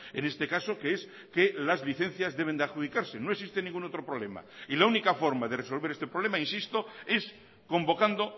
en este caso que es que las licencias deben de adjudicarse no existe ningún otro problema y la única forma de resolver este problema insisto es convocando